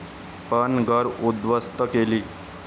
पण घरं उद्ध्वस्त केली.